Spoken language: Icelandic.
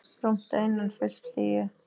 Rúmt að innan, fullt hlýju.